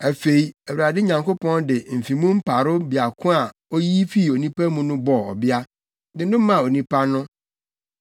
Afei Awurade Nyankopɔn de mfe mu mparow baako a oyi fii onipa mu no bɔɔ ɔbea, de no maa onipa no.